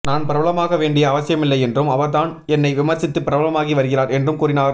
நான் பிரபலமாக வேண்டிய அவசியமில்லை என்றும் அவர்தான் என்னை விமர்சித்து பிரபலமாகி வருகிறார் என்றும் கூறினார்